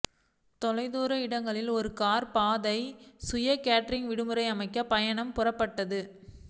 தொலைதூர இடங்களில் ஒரு கார் பாதை சுய கேட்டரிங் விடுமுறை அமைக்க பயணம் புறப்பட்டது